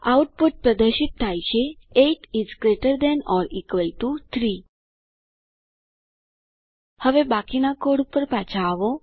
output પ્રદર્શિત થાય છે 8 is greater than or equal to 3 હવે બાકીના કોડ ઉપર પાછા આવો